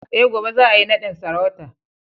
Eh, gobe za a yi nadin sarauta